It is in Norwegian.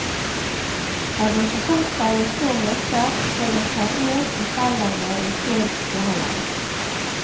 Har man forsømt seg i så måte, får man ta rev i seilene jo før jo heller.